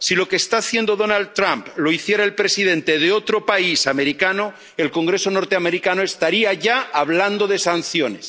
Si lo que está haciendo Donald Trump lo hiciera el presidente de otro país americano, el Congreso norteamericano estaría ya hablando de sanciones.